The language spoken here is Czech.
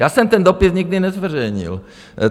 Já jsem ten dopis nikdy nezveřejnil.